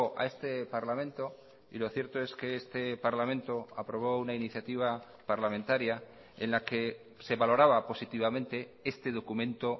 a este parlamento y lo cierto es que este parlamento aprobó una iniciativa parlamentaria en la que se valoraba positivamente este documento